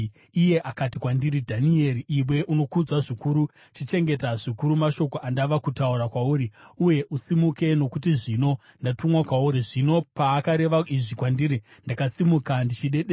Iye akati kwandiri, “Dhanieri, iwe unokudzwa zvikuru, chichengeta zvikuru mashoko andava kutaura kwauri, uye usimuke, nokuti zvino ndatumwa kwauri.” Zvino paakareva izvi kwandiri, ndakasimuka ndichidedera.